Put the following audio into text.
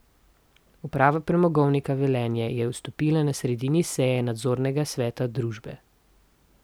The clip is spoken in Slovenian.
Uprava Premogovnika Velenje je odstopila na sredini seji nadzornega sveta družbe.